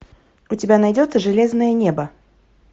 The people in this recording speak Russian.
у тебя найдется железное небо